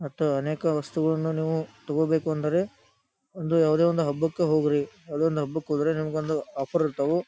ಮತ್ತು ಅನೇಕ ವಸ್ತುಗಳನ್ನು ನೀವು ತಗೋಬೇಕು ಅಂದ್ರೆ ಒಂದು ಯಾವ್ದೋ ಒಂದು ಹಬ್ಬಕ್ಕೆ ಹೋಗ್ರಿ ಯಾವ್ದೋ ಒಂದ್ ಹಬ್ಬಕ್ ಹೋದ್ರೆ ನಿಮಗೆ ಒಂದು ಆಫರ್ ಇರ್ತವು.